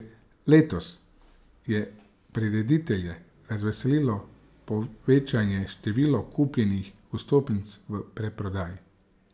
Letos je prireditelje razveselilo povečanje števila kupljenih vstopnic v predprodaji.